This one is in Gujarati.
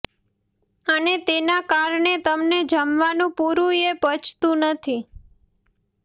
અને તેના કારણે તમને જમવાનું પૂરું એ પચતું નથી